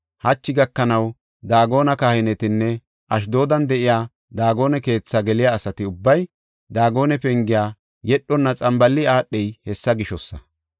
Hachi gakanaw Daagone kahinetinne Ashdoodan de7iya Daagone keetha geliya asati ubbay Daagone pengiya yedhonna xambaali aadhey hessa gishosa.